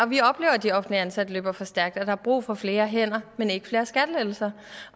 vi oplever at de offentligt ansatte løber for stærkt og at der er brug for flere hænder men ikke flere skattelettelser